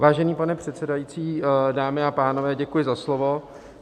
Vážený pane předsedající, dámy a pánové, děkuji za slovo.